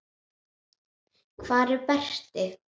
Hvar er Berti?